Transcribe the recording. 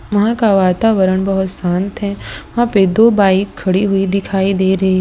वहां का वातावरण बहोत शांत है वहां पर दो बाइक खड़ी हुई दिखाई दे रही है।